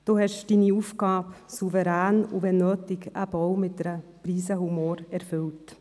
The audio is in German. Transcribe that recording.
Sie haben Ihre Aufgabe souverän und wenn nötig eben auch mit einer Prise Humor erfüllt.